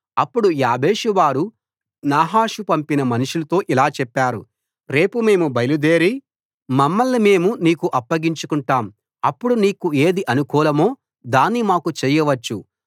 అప్పుడు యాబేషువారు నాహాషు పంపిన మనుషులతో ఇలా చెప్పారు రేపు మేము బయలుదేరి మమ్మల్ని మేము నీకు అప్పగించుకొంటాం అప్పుడు నీకు ఏది అనుకూలమో దాన్ని మాకు చేయవచ్చు